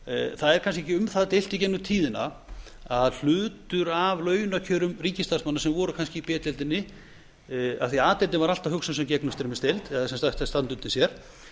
það er kannski ekki um það deilt í gegnum tíðina að hlutur af launakjörum ríkisstarfsmanna sem voru kannski í b deildinni af því að a deildin var alltaf hugsuð sem gegnumstreymisdeild eða sem sagt ætti að standa undir sér